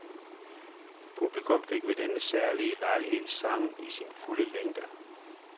Publikum fik ved denne særlige lejlighed sangen i sin fulde længde.